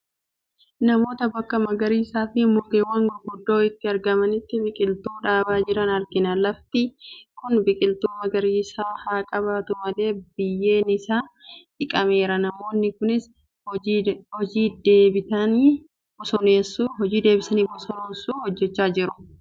Namoota bakka magariisaafi mukawwan gurguddoo itti argamanitti biqiltuu dhaabaa jiran argina. Lafti kun biqiltuu magariisaa haa qabaatu malee biyyeen isaa dhiqameera. Namoonni kunis hojii deebitanii bosonoomsuu hojechaa jiru. Deebisanii bosonoomsuu jechuun maal jechuu dha ?